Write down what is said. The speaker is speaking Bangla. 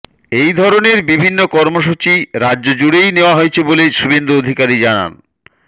এই ধরনের বিভিন্ন কর্মসূচি রাজ্য জুড়েই নেওয়া হয়েছে বলে শুভেন্দু অধিকারী জানান